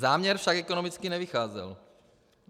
Záměr však ekonomicky nevycházel.